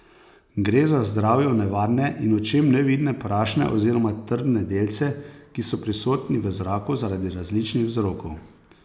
Gre za zdravju nevarne in očem nevidne prašne oziroma trdne delce, ki so prisotni v zraku zaradi različnih vzrokov.